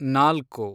ನಾಲ್ಕು